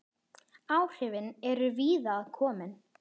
Áhrifin eru víða að komin.